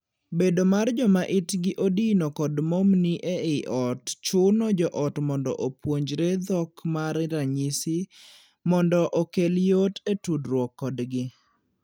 Bedo mar joma itgi odino kod momni ei ot chuno joot mondo opuonjre dhok mar ranyisi mondo okel yot e tudruok kodgi.